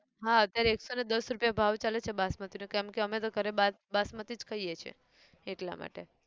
હા અત્યારે એકસોને દસ રૂપિયા ભાવ ચાલે છે બાસમતી નો કેમકે અમે તો ઘરે બાસમતી જ ખઈએ છે, એટલા માટે